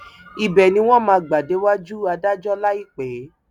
ibẹ ni wọn máa gbà déwájú adájọ láìpẹ